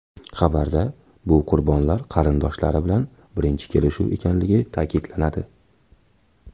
Xabarda bu qurbonlar qarindoshlari bilan birinchi kelishuv ekanligi ta’kidlanadi.